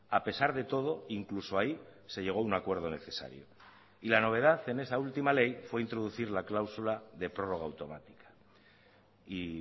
a pesar de todo incluso ahí se llegó a un acuerdo necesario y la novedad en esa última ley fue introducir la cláusula de prórroga automática y